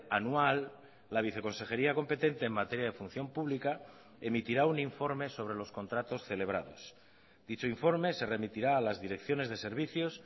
anual la viceconsejería competente en materia de función pública emitirá un informe sobre los contratos celebrados dicho informe se remitirá a las direcciones de servicios